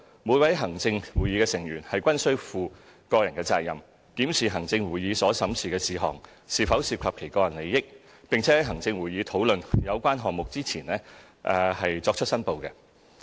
每位行政會議成員均負個人責任，檢視行政會議所審議的事項是否涉及其個人利益，並在行政會議討論有關項目前作出申報。